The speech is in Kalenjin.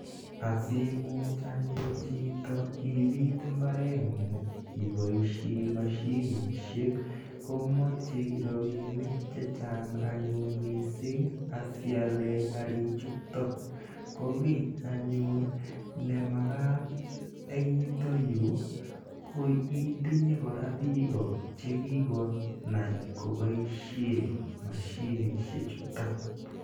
Asiimuch anyun chito ipiit mbareng'ung' ipoishe mashinishek ko machei rapinik che chang' anyun missing' asi iale karichutok. Ko ki anyun ne makat en yutayu ko itinye kora piko che kikonai ko poishe mashinishechutok.